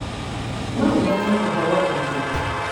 no ũmenye ũhoro ũngĩ